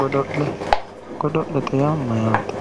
Godo'le godo'lete yaa mayyaate